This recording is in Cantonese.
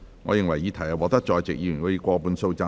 我認為議題獲得在席議員以過半數贊成。